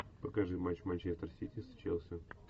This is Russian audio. покажи матч манчестер сити с челси